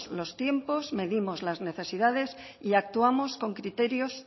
los tiempos medimos las necesidades y actuamos con criterios